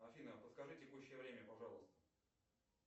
афина подскажи текущее время пожалуйста